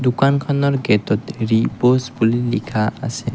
দোকানখনৰ গেটত ৰিপ'জ বুলি লিখা আছে।